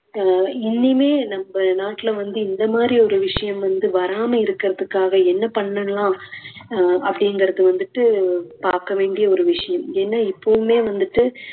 அஹ் இனிமே நம்ம நாட்டுல வந்து இந்த மாதிரி ஒரு விஷயம் வந்து வராமல் இருக்குறதுக்காக என்ன பண்ணலாம் அஹ் அப்படிங்குறது வந்துட்டு பாக்க வேண்டிய ஒரு விஷயம் ஏன்னா இப்பவுமே வந்துட்டு